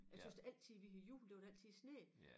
Jeg tøs altid vi havde jul der var der altid sne